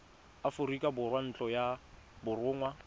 aforika borwa ntlo ya borongwa